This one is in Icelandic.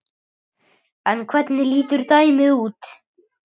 En hvernig lítur dæmið út?